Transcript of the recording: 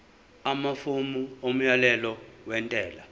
amafomu omyalelo wentela